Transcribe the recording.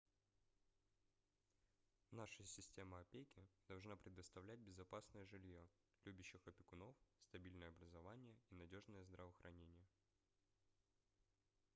наша система опеки должна предоставлять безопасное жильё любящих опекунов стабильное образование и надёжное здравоохранение